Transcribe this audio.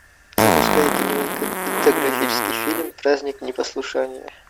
запускай кинематографический фильм праздник непослушания